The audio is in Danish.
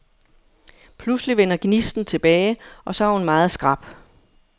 Pludselig vender gnisten tilbage, og så er hun meget skrap.